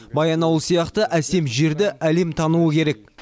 баянауыл сияқты әсем жерді әлем тануы керек